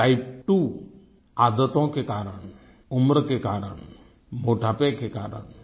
और Type2 आदतों के कारण उम्र के कारण मोटापे के कारण